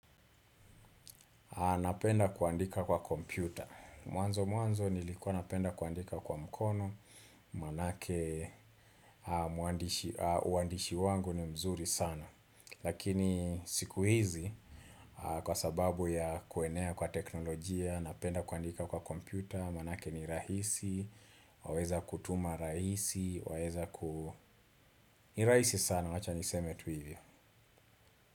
Napenda kuandika kwa kompyuta. Mwanzo mwanzo nilikuwa napenda kuandika kwa mkono, manake uandishi wangu ni mzuri sana. Lakini siku hizi, kwa sababu ya kuenea kwa teknolojia, napenda kuandika kwa kompyuta, manake ni rahisi, waweza kutuma rahisi, waweza ku Ni rahisi sana, wacha niseme tu hivyo.